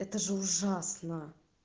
это же ужасно